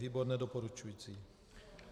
Výbor nedoporučující.